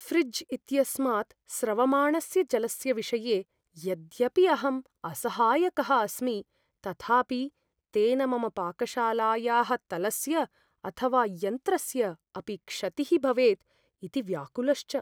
ऴ्रिज् इत्यस्मात् स्रवमाणस्य जलस्य विषये यद्यपि अहं असहायकः अस्मि तथापि तेन मम पाकशालायाः तलस्य अथवा यन्त्रस्य अपि क्षतिः भवेत् इति व्याकुलश्च।